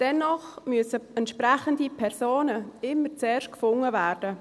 Dennoch müssen entsprechende Personen immer zuerst gefunden werden.